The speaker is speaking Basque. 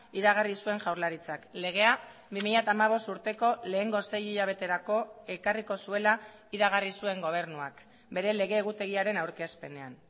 iragarri zuen jaurlaritzak legea bi mila hamabost urteko lehengo sei hilabeterako ekarriko zuela iragarri zuen gobernuak bere lege egutegiaren aurkezpenean